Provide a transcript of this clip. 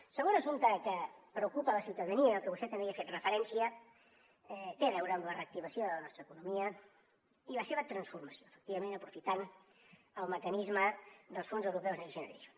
el segon assumpte que preocupa la ciutadania que vostè també hi ha fet referència té a veure amb la reactivació de la nostra economia i la seva transformació efectivament aprofitant el mecanisme dels fons europeus next generation